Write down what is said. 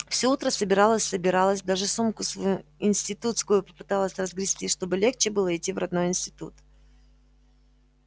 все утро собиралась-собиралась даже сумку свою институтскую попыталась разгрести чтобы легче было идти в родной институт